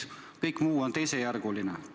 Kõik muu on teisejärguline.